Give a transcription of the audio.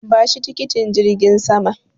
Bashi tikitin jirgin saman.